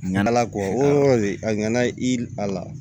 Ɲina ala kɔ a nana i a la